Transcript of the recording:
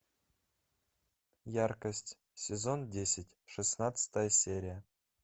яркость сезон десять шестнадцатая серия